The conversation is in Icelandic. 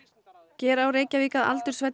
gera á Reykjavík að